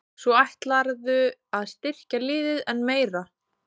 Svo ætlarðu að styrkja liðið enn meira?